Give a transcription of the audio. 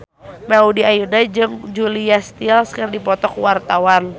Maudy Ayunda jeung Julia Stiles keur dipoto ku wartawan